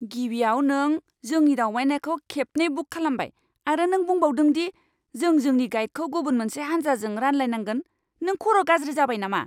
गिबियाव, नों जोंनि दावबायनायखौ खेबनै बुक खालामबाय आरो नों बुंबावदों दि जों जोंनि गाइडखौ गुबुन मोनसे हानजाजों रानलायनांगोन। नों खर' गाज्रि जाबाय नामा?